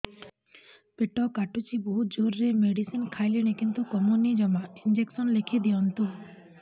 ପେଟ କାଟୁଛି ବହୁତ ଜୋରରେ ମେଡିସିନ ଖାଇଲିଣି କିନ୍ତୁ କମୁନି ଜମା ଇଂଜେକସନ ଲେଖିଦିଅନ୍ତୁ